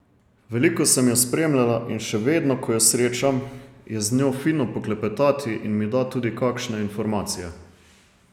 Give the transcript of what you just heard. Veliko sem jo spremljala in še vedno, ko jo srečam, je z njo fino poklepetati in mi da tudi kakšne informacije.